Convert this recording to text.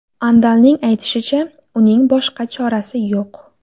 Andalning aytishicha, uning boshqa chorasi yo‘q.